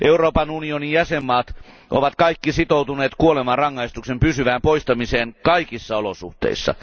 Euroopan unionin jäsenvaltiot ovat kaikki sitoutuneet kuolemanrangaistuksen pysyvään poistamiseen kaikissa olosuhteissa.